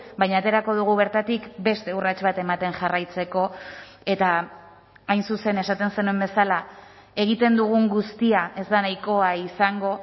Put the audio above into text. baina aterako dugu bertatik beste urrats bat ematen jarraitzeko eta hain zuzen esaten zenuen bezala egiten dugun guztia ez da nahikoa izango